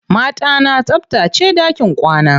Mata na tsabtace ɗakin kwana.